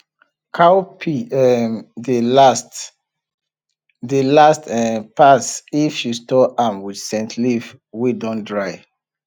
cowpea um dey last dey last um pass if you store am with scent leaf wey dun dry